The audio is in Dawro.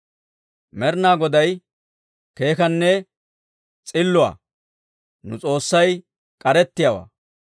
Med'inaa Goday keekkanne s'iluwaa; nu S'oossay k'arettiyaawaa.